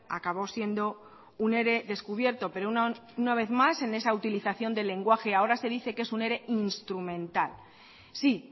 acabó siendo un ere descubierto pero una vez más en esa utilización del lenguaje ahora se dice que es un ere instrumental sí